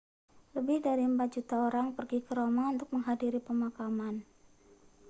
lebih dari empat juta orang pergi ke roma untuk menghadiri pemakaman